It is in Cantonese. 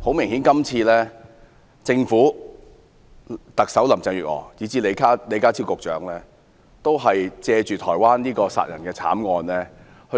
很明顯，政府、特首林鄭月娥以至李家超局長今次借去年台灣的殺人慘案，"